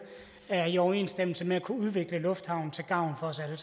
er i overensstemmelse med at kunne udvikle lufthavnen til gavn for os alle